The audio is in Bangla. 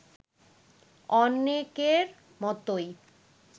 অনেকের মতোই